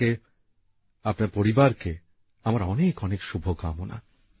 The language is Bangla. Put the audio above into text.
আপনাকে আপনার পরিবারকে আমার অনেক অনেক শুভকামনা